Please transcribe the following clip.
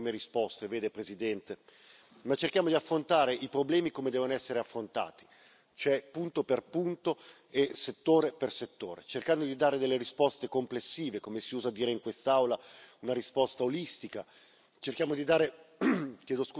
Sulle migrazioni cerchiamo di dare non delle prime risposte, vede Presidente, ma cerchiamo di affrontare i problemi come devono essere affrontati, cioè punto per punto e settore per settore, cercando di dare delle risposte complessive o, come si usa dire in quest'Aula, una risposta olistica.